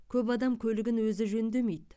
көп адам көлігін өзі жөндемейді